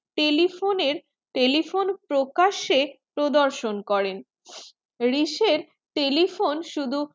telephonetelephone প্রকাশ্যে প্রদর্শন করেন রেইস telephone শুধু